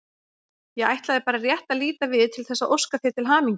Ég ætlaði bara rétt að líta við til þess að óska þér til hamingju.